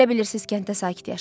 Elə bilirsiz kənddə sakit yaşayırdı?